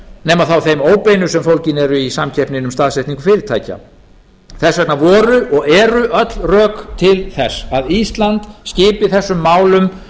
nema þá þeim óbeinu sem fólgin eru í samkeppninni um staðsetningu fyrirtækja þess vegna voru og eru öll rök til þess að ísland skipi þessum málum